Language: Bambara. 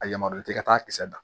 A yamaruya tɛ ka taa kisɛ da